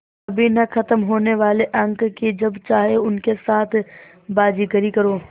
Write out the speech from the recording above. कभी न ख़त्म होने वाले अंक कि जब चाहे उनके साथ बाज़ीगरी करो